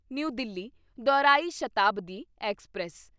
new Delhi ਦੌਰਾਈ Shatabdi express